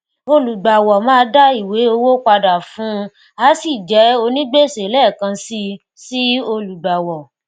olùgbàwọ máa dá ìwé owó padà fún un á sì jẹ onígbèsè lẹẹkan si sí olùgbàwọ